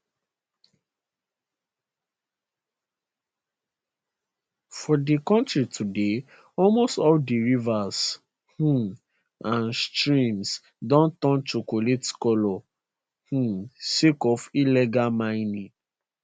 for di kontri today almost all di rivers um and streams don turn chocolate colour um sake of illegal mining